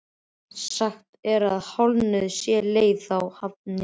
Sagt er að hálfnuð sé leið þá hafin sé.